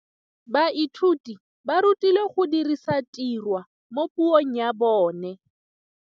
Baithuti ba rutilwe go dirisa tirwa mo puong ya bone.